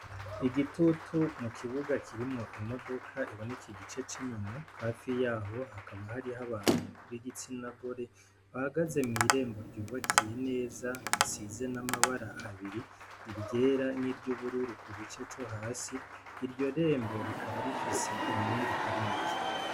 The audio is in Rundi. Igitutu mu kibuga kirimwo imodoka iboneka igice c'inyuma, hafi yaho hakaba hariho abantu b'igitsina gore, bahagaze mw'irembo ry'ubakiye neza risize n'amabara abiri iryera n'iryubururu kugice co hasi, iryo rembo rikaba rifise imyenge itari mike.